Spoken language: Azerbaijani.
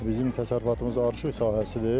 Bizim təsərrüfatımız arışıq sahəsidir.